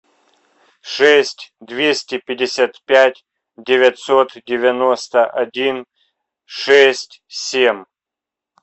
шесть двести пятьдесят пять девятьсот девяносто один шесть семь